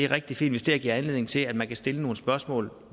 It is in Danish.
rigtig fint hvis det her giver anledning til at man kan stille nogle spørgsmål